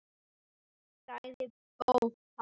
sagði Bóas.